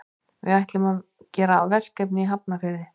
Við ætlum að gera verkefni í Hafnarfirði.